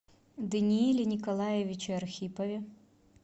данииле николаевиче архипове